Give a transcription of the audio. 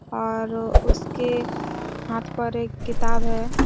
और उसके हाथ पर एक किताब है।